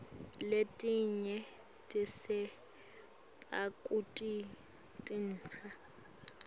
letinye sitsenga kuto tinphahla